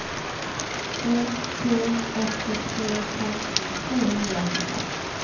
en to åtte tre femten tre hundre og åttifem